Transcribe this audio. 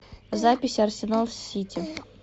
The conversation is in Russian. запись арсенал с сити